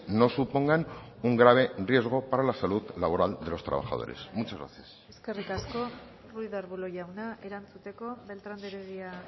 no supongan un grave riesgo para la salud laboral de los trabajadores muchas gracias eskerrik asko ruiz de arbulo jauna erantzuteko beltrán de heredia